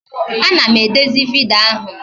A na m edezi vidiyo ahụ